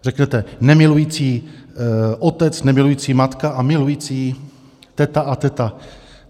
Řeknete: nemilující otec, nemilující matka a milující teta a teta.